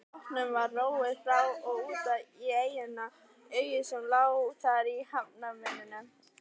Bátnum var róið frá og út í eyju sem lá þar í hafnarmynninu.